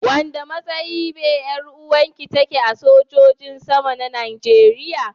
Wanda matsayi be yaruwan ki take a sojoji sama na Najeriya.